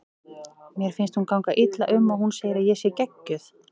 Mér finnst hún ganga illa um og hún segir að ég sé geggjuð.